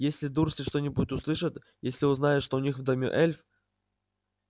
если дурсли что-нибудь услышат если узнают что у них в доме эльф